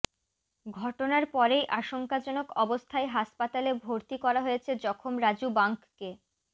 ঘটনার পরেই আশঙ্কাজনক অবস্থায় হাসপাতালে ভর্তি করা হয়েছে জখম রাজু বাঙ্ককে